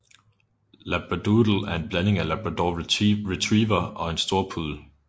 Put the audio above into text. Labradoodle er en blanding af labrador retriever og storpuddel